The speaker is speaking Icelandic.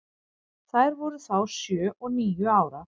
Þær voru þá sjö og níu ára.